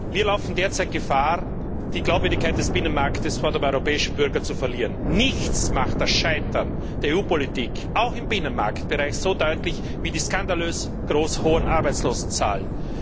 Wir laufen derzeit Gefahr, die Glaubwürdigkeit des Binnenmarkts vor dem europäischen Bürger zu verlieren. Nichts macht das Scheitern der EU Politik auch im Binnenmarktbereich so deutlich wie die skandalös hohen Arbeitslosenzahlen.